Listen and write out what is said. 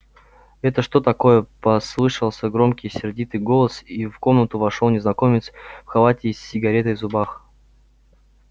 это что такое послышался громкий сердитый голос и в комнату вошёл незнакомец в халате и с сигарой в зубах